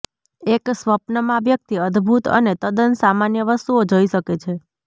એક સ્વપ્ન માં વ્યક્તિ અદ્ભુત અને તદ્દન સામાન્ય વસ્તુઓ જોઈ શકે છે